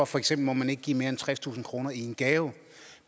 for eksempel ikke give mere end tredstusind kroner i en gave